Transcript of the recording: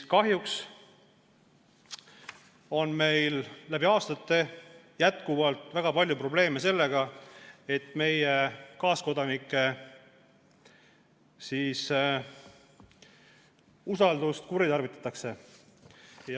" Kahjuks on meil läbi aastate jätkuvalt väga palju probleeme sellega, et meie kaaskodanike usaldust kuritarvitatakse.